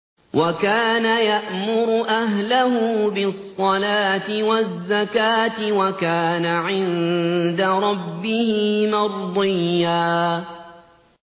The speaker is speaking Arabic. وَكَانَ يَأْمُرُ أَهْلَهُ بِالصَّلَاةِ وَالزَّكَاةِ وَكَانَ عِندَ رَبِّهِ مَرْضِيًّا